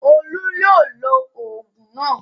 Olú yóò lo òògùn náà.